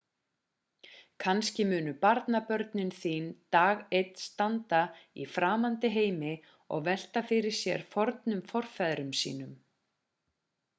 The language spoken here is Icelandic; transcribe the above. kannski munu barnabarnabörn þín dag einn standa í framandi heimi og velta fyrir sér fornum forfeðrum sínum